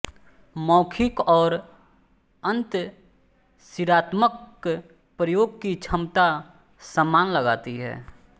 मौखिक और अंतशिरात्मक प्रयोग की क्षमता समान लगाती है